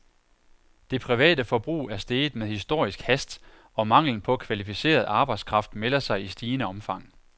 Det private forbrug er steget med historisk hast, og manglen på kvalificeret arbejdskraft melder sig i stigende omfang.